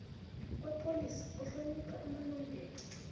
kwepholisa kuhlonipha amalungelo